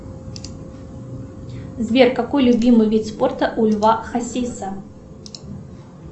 сбер какой любимый вид спорта у льва хасиса